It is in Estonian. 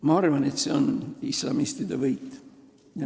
Ma arvan, et see on islamistide võit.